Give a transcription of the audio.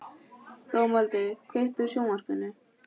Dómaldur, kveiktu á sjónvarpinu.